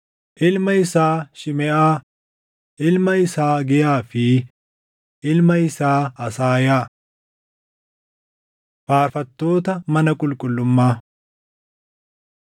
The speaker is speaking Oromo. ilma isaa Shimeʼaa, ilma isaa Hagiyaa fi ilma isaa Asaayaa. Faarfattoota Mana Qulqullummaa 6:54‑80 kwf – Iya 21:4‑39